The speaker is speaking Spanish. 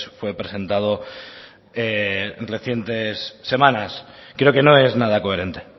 fue presentado en recientes semanas creo que no es nada coherente